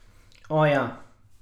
O, ja!